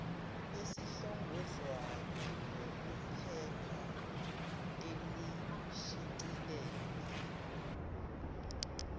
elihlongozwayo lokuphepha elishicilelwe